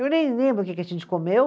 Eu nem lembro o que que a gente comeu.